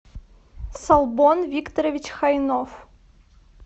солбон викторович хайнов